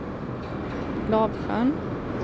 Lavsjön